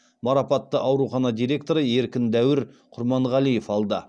марапатты аурухана директоры еркін дәуір құрманғалиев алды